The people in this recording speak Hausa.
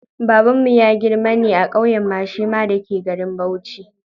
Babanmu ya girma ne a ƙauyen Mashema da ke garin Bauchi.